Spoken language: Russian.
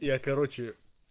я короче